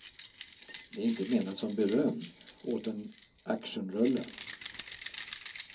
Det är inte menat som beröm åt en actionrulle.